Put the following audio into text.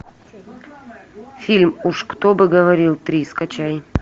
фильм уж кто бы говорил три скачай